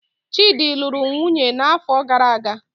Chidi lụrụ nwunye n'afọ gara aga